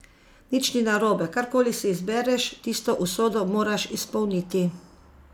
Nič ni narobe, karkoli si izbereš, tisto usodo moraš izpolniti.